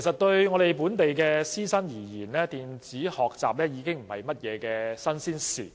對本地師生來說，電子學習不是新鮮事物。